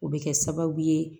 O bɛ kɛ sababu ye